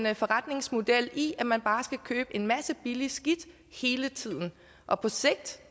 en forretningsmodel i at man bare skal købe en masse billigt skidt hele tiden og på sigt